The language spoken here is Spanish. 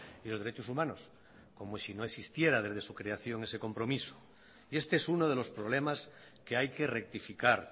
y los derechos humanos como si no existiera desde su creación ese compromiso y este es uno de los problemas que hay que rectificar